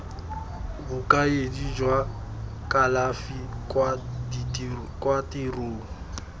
bokaedi jwa kalafi kwa tirong